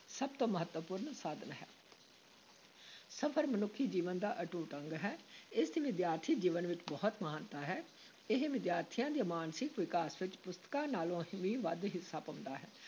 ਸਭ ਤੋਂ ਮਹੱਤਵਪੂਰਨ ਸਾਧਨ ਹੈ ਸਫ਼ਰ ਮਨੁੱਖੀ ਜੀਵਨ ਦਾ ਅਟੁੱਟ ਅੰਗ ਹੈ, ਇਸ ਦੀ ਵਿਦਿਆਰਥੀ ਜੀਵਨ ਵਿੱਚ ਬਹੁਤ ਮਹਾਨਤਾ ਹੈ, ਇਹ ਵਿਦਿਆਰਥੀਆਂ ਦੇ ਮਾਨਸਿਕ ਵਿਕਾਸ ਵਿਚ ਪੁਸਤਕਾਂ ਨਾਲੋਂ ਵੀ ਵੱਧ ਹਿੱਸਾ ਪਾਉਂਦਾ ਹੈ।